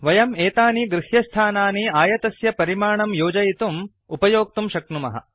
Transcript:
वयं एतानि गृह्यस्थानानि आयतस्य परिमाणं योजयितुं उपयोक्तुं शक्नुमः